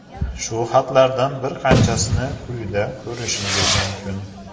Shu xatlardan bir qanchasini quyida ko‘rishingiz mumkin.